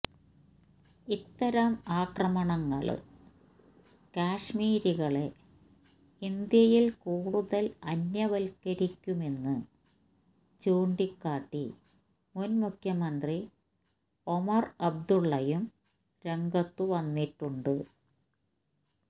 ഇത്തരം ആക്രമണങ്ങള് കശ്മീരികളെ ഇന്ത്യയിൽ കൂടുതൽ അന്യവൽക്കരിക്കുമെന്ന് ചൂണ്ടിക്കാട്ടി മുൻ മുഖ്യമന്ത്രി ഒമർ അബ്ദുള്ളയും രംഗത്തു വന്നിട്ടുണ്ട്